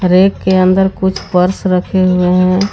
Rack के अंदर कुछ पर्स रखे हुए हैं।